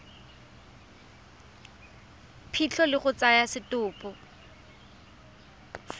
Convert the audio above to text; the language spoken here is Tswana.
phitlho le go tsaya setopo